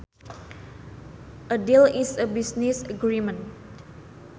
A deal is a business agreement